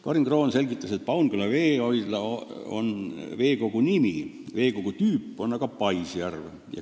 Karin Kroon selgitas, et Paunküla veehoidla on selle veekogu nimi, veekogu tüüp on aga paisjärv.